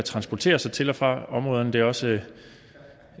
transportere sig til og fra områderne det er også